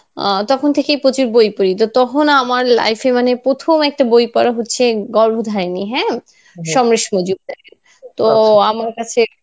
আহ তখন থেকেই প্রচুর বই পড়ি, তো তখন আমার life এ মানে প্রথম একটা বই পড়া হচ্ছে গর্ভ্যধারিনি হ্যাঁ সমরেশ মজুমদার এর. তো আমার কাছে